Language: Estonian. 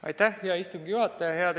Aitäh, hea istungi juhataja!